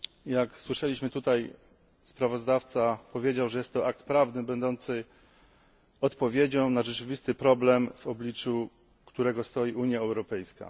Jak słyszeliśmy tutaj, sprawozdawca powiedział, że jest to akt prawny będący odpowiedzią na rzeczywisty problem, w obliczu którego stoi Unia Europejska.